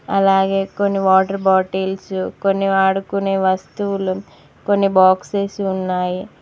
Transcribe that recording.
అలాగే కొన్ని water bottles కొన్ని ఆడుకునే వస్తువులు కొన్ని బాక్సస్ ఉన్నాయి.